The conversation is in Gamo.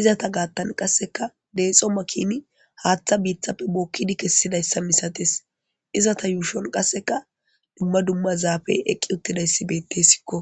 izata gaattan qasseka deexo makini haaththa biiththappe bookkidi kessidayssa misates izata yuushon qasseka dumma dumma zaafey eqqi uttidayssibette sikko